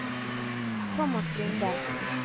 Tomas Lunde